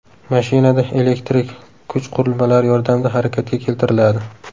Mashina elektrik kuch qurilmalari yordamida harakatga keltiriladi.